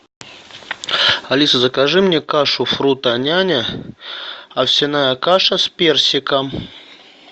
алиса закажи мне кашу фрутоняня овсяная каша с персиком